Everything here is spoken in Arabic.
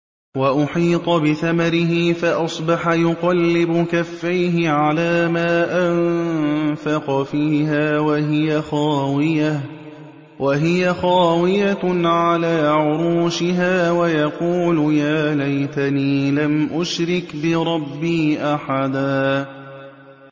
وَأُحِيطَ بِثَمَرِهِ فَأَصْبَحَ يُقَلِّبُ كَفَّيْهِ عَلَىٰ مَا أَنفَقَ فِيهَا وَهِيَ خَاوِيَةٌ عَلَىٰ عُرُوشِهَا وَيَقُولُ يَا لَيْتَنِي لَمْ أُشْرِكْ بِرَبِّي أَحَدًا